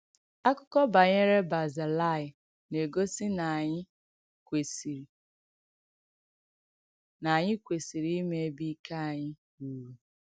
Àkụ́kọ̀ banyerè Bazilaị nà-ègósì nà ànyị̣ kwèsìịrị̀ nà ànyị̣ kwèsìịrị̀ ìmà èbè ìkè ànyị̣ rùrù.